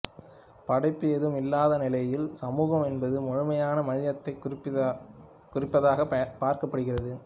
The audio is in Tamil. படைப்பு ஏதும் இல்லாத நிலையில் சமூகம் என்பது முழுமையான மனிதத்தைக் குறிப்பதாகப் பார்க்கப்படுகிறது